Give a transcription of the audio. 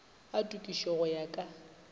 a tokišo go ya ka